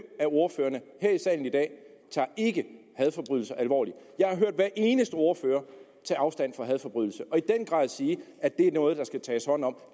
af ordførerne her i salen i dag tager ikke hadforbrydelser alvorligt jeg har hørt hver eneste ordfører tage afstand fra hadforbrydelser og i den grad sige at det er noget der skal tages hånd om